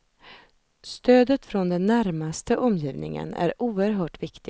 Stödet från den närmaste omgivningen är oerhört viktigt.